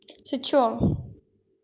ты что